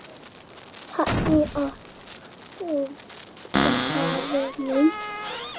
Þannig orti faðir minn.